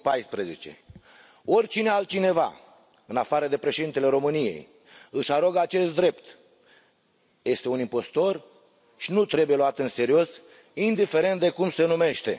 2014. Oricine altcineva în afară de Președintele României își arogă acest drept este un impostor și nu trebuie luat în serios, indiferent de cum se numește.